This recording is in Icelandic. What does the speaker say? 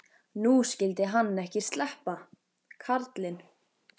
Nú skyldi hann ekki sleppa, karlinn.